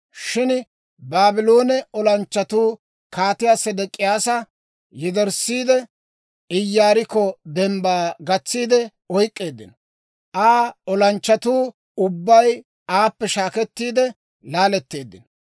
Shin Baabloone olanchchatuu Kaatiyaa Sedek'iyaasa yederssiide, Iyaarikko dembbaa gatsiidde oyk'k'eeddino. Aa olanchchatuu ubbay aappe shaakkettiide laaletteeddino.